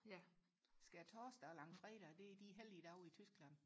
ja skærtorsdag og langfredag det er de helligdage i Tyskland